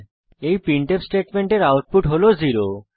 এই প্রিন্টফ স্টেটমেন্টের আউটপুট হল 0